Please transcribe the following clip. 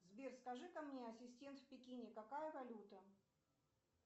сбер скажи ка мне ассистент в пекине какая валюта